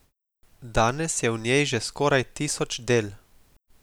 Danes je v njej že skoraj tisoč del.